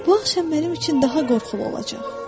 “Bu axşam mənim üçün daha qorxulu olacaq.”